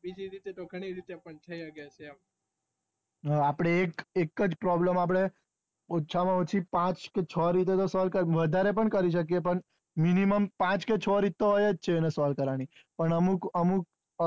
હા આપણે એકજ problem આપડે ઓછા માં ઓછી પાંચ કે છ રીતે solve કરીયે વધારે પણ કરી શકે પણ minimum પાંચ કે છ રીતે તો હોય જ છે પણ અમુક અમુક